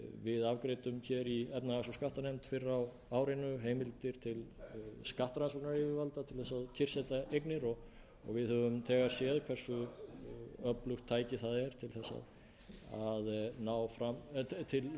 við afgreiddum í efnahags og skattanefnd fyrr á árinu heimildir til skattrannsóknayfirvalda til að kyrrsetja eignir og við höfum þegar séð hversu öflugt tæki það er til að